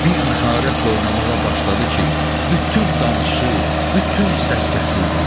Bir məharətlə oynamağa başladı ki, bütün danışıq, bütün səs kəsildi.